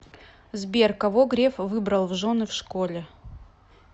сбер кого греф выбрал в жены в школе